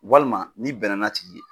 Walima n'i bɛnna n'a tigi ye.